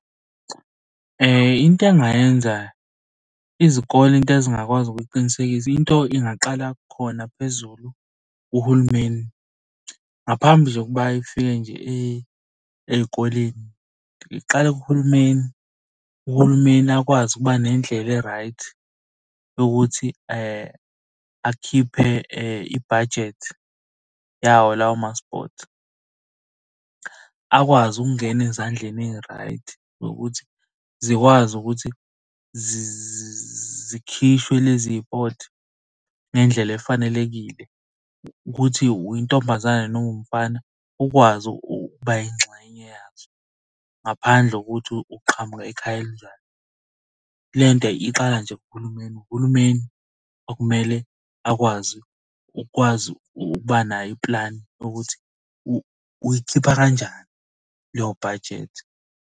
Into engingayenza, izikole into ezingakwazi ukuyiqinisekisa into ingaqala khona phezulu kuhulumeni, ngaphambi kokuba ifike nje ey'koleni iqala kuhulumeni. Uhulumeni akwazi ukuba nendlela e-right yokuthi akhiphe ibhajethi yawo lawo ma-sport. Akwazi ukungena ezandleni eyi-right nokuthi zikwazi ukuthi zikhishwe lezipothi ngendlela efanelekile, ukuthi uyintombazane noma uwumfana, ukwazi ukuba yingxenye yazo ngaphandle kokuthi uqhamuka ekhaya elinjani. Le nto iqala nje kuhulumeni, uhulumeni okumele akwazi ukwazi ukuba nayo iplani ukuthi uyikhipha kanjani leyo bhajethi.